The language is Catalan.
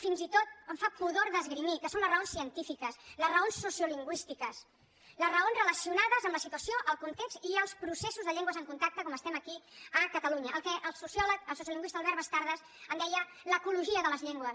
fins i tot em fa pudor d’esgrimir que són les raons científiques les raons sociolingüístiques les raons relacionades amb la situació el context i els processos de llengües en contacte com estem aquí a catalunya el que el sociolingüista albert bastardas en deia l’ecologia de les llengües